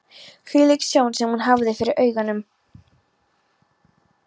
Hvílík sjón sem hún hafði fyrir augunum!